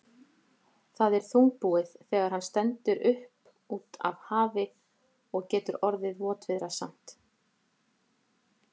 Það er þungbúið þegar hann stendur upp á af hafi og getur orðið votviðrasamt.